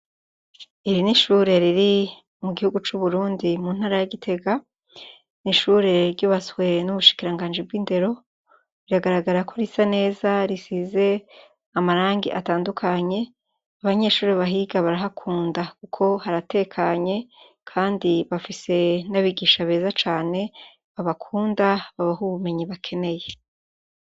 Iri nishure riri mukibuga cuburundi muntara ya gitega nishure ryubatswe mumushikiranganji bwindero biragarara ko risa neza risize amarangi atandukanye abanyeshure bahiga barahakunda kuko haratekanye kandi bafise nabigisha beza cane babakunda babaha ubumenyi bakeneye